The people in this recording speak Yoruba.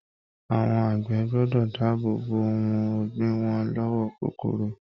Àwọn àgbẹ̀ gbọ́dọ̀ dáàbò bo ohun ọ̀gbìn wọn lọ́wọ́ kòkòrò.